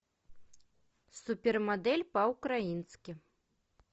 супермодель по украински